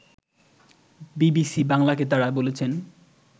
BBC বাংলাকে তারা বলেছেন